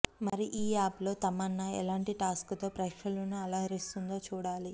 మరి ఈ యాప్లో తమన్నా ఎలాంటి టాక్షోతో ప్రేక్షకులను అలరిస్తుందో చూడాలి